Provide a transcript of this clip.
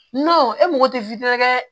e mago tɛ dɛ